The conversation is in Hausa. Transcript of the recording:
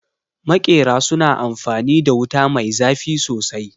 Maƙera su na amfanin da wuta mai zafi sosai